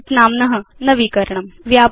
sheets इत्येषां नाम्न नवीकरणम्